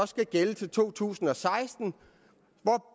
skal gælde til to tusind og seksten